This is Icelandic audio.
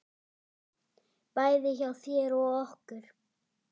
Bæði hjá þér og okkur.